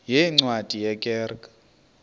yeencwadi ye kerk